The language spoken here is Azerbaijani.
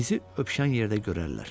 bizi öpüşən yerdə görərlər.